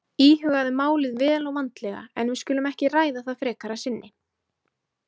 Íhugaðu málið vel og vandlega en við skulum ekki ræða það frekar að sinni